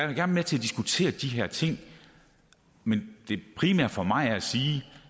vil være med til diskutere de her ting men det primære for mig er at sige